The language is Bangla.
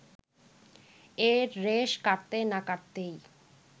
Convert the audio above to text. এর রেশ কাটতে না কাটতেই